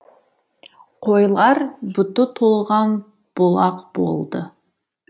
қойлар бұты толған бұлақ болды